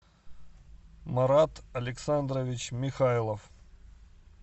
марат александрович михайлов